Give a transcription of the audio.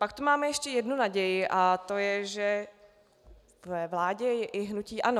Pak tu máme ještě jednu naději, a to je, že ve vládě je i hnutí ANO.